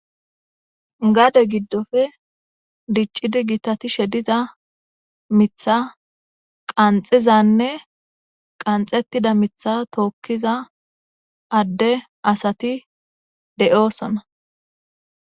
gade giddofe diccidi gitatishe diza mitha qanxizanne qanxettida mitha tookkiza adde asati de7oosona